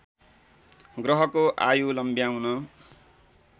ग्रहको आयु लम्ब्याउन